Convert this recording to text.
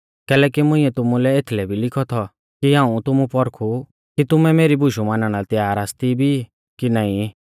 कैलैकि मुंइऐ तुमुलै एथलै भी लिखौ थौ कि हाऊं तुमु पौरखु कि तुमैं मेरी बुशु मानणा लै तैयार आसती भी कि नाईं